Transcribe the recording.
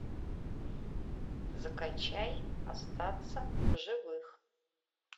закачай остаться в живых